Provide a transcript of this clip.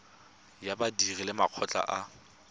ya badiri le makgotla a